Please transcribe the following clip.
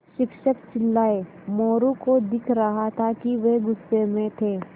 शिक्षक चिल्लाये मोरू को दिख रहा था कि वे गुस्से में थे